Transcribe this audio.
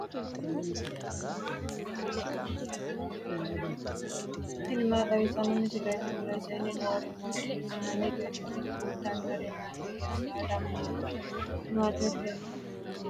tini maa xawissanno misileeti ? mulese noori maati ? hiissinannite ise ? tini kultannori mattiya? Saada mamitte? Mama heedhanno? Xa noosi hiikkotti?